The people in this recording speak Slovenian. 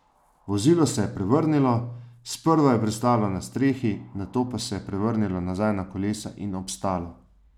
Vozilo se je prevrnilo, sprva je pristalo na strehi, nato pa se je prevrnilo nazaj na kolesa in obstalo.